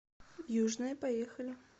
южная поехали